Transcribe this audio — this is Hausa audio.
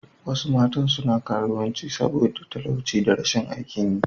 Wasu matan suna karuwanci saboda talauci da rashin aikin yi.